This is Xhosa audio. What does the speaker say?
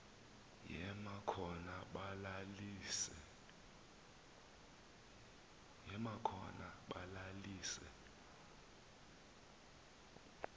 yema khona balalise